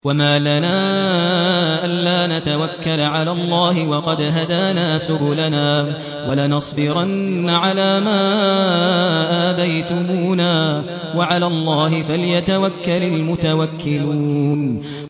وَمَا لَنَا أَلَّا نَتَوَكَّلَ عَلَى اللَّهِ وَقَدْ هَدَانَا سُبُلَنَا ۚ وَلَنَصْبِرَنَّ عَلَىٰ مَا آذَيْتُمُونَا ۚ وَعَلَى اللَّهِ فَلْيَتَوَكَّلِ الْمُتَوَكِّلُونَ